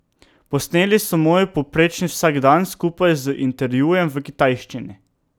Posneli so moj povprečni vsakdan skupaj z intervjujem v kitajščini.